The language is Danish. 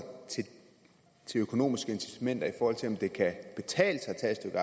til de økonomiske incitamenter i forhold til om det kan betale sig at tage et